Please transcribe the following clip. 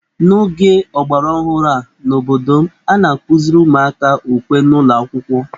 N'oge ọgbaraọhụrụ a n'obodo m, a na-akụziri ụmụaka ukwe n'ụlọ akwụkwọ